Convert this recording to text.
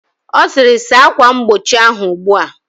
Ọ sịrị, saa akwa mgbochi ahụ ugbua!